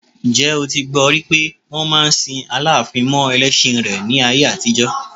Ǹjẹ́ o ti gbọ rí pé wọ́n máa ń sin Aláàfin mọ ẹlẹ́ṣin rẹ̀ ni ní ayé àtijọ́?